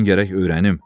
Mən gərək öyrənim.